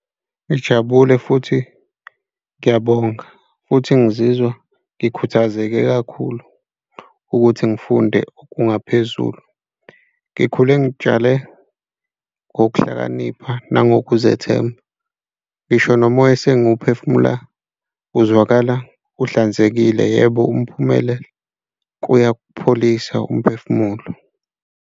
Ngijabule futhi ngiyabonga futhi ngizizwa ngikhuthazeke kakhulu ukuthi ngifunde okungaphezulu ngikhule. Ngitshale ngokuhlakanipha nangokuzethemba, ngisho nomoya esengiwuphefumula uzwakala uhlanzekile, yebo, umphumela kuyapholisa umphefumulo.